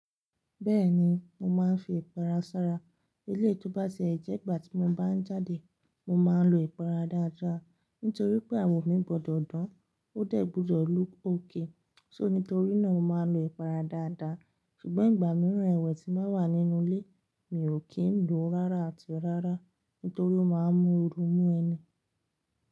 Bẹ́ẹ̀ni, mo máa ń fi ipara sára. Eleyii tó bá ti ẹ jẹ́ igbà tí mo bá ń jáde, mo máa ń lo ipara dáadáa. Nítorí pé àwò mi gbọdọ̀ dán, ó dẹ̀ gbúdò look okay. So nítorí náà mo máa ń lo ipara dáadáa. Ṣùgbọ́n ìgbà mìíràn ẹwẹ̀ tí n ba wà nínú ilé, mi ò kí ń lo rárá àti rárá. Nítorí ó máa ń mú ooru mú ẹni.